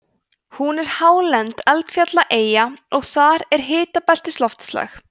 hún er hálend eldfjallaeyja og þar er hitabeltisloftslag